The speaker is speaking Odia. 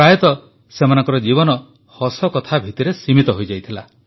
ପ୍ରାୟତଃ ସେମାନଙ୍କର ଜୀବନ ହସକଥା ଭିତରେ ହିଁ ସୀମିତ ହୋଇଯାଇଥିଲା